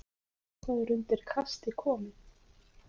Eitthvað er undir kasti komið